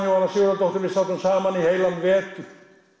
Jóhanna Sigurðardóttir sátum saman í heilan vetur